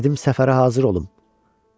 Dedim səfərə hazır olum.